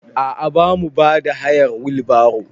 A a bamu bada hayar wil baro.